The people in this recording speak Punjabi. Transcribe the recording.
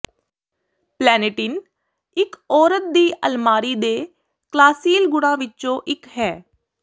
ਪਲੈਂਨੇਟਿਨ ਇਕ ਔਰਤ ਦੀ ਅਲਮਾਰੀ ਦੇ ਕਲਾਸੀਲ ਗੁਣਾਂ ਵਿੱਚੋਂ ਇਕ ਹੈ